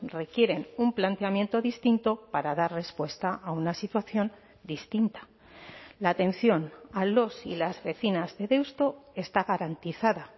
requieren un planteamiento distinto para dar respuesta a una situación distinta la atención a los y las vecinas de deusto está garantizada